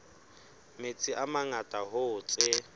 metsi a mangata hoo tse